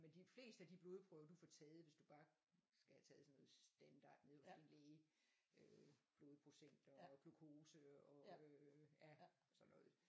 Men de fleste af de blodprøver du får taget hvis du bare skal have taget sådan noget standard nede hos din læge øh blodprocent og glukose og øh ja sådan noget